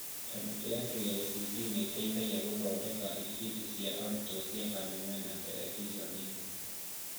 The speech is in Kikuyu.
Kamĩtĩ ya KICD nĩteithagia gũthondeka ibindi cia arutwo cia kameme na terebiceni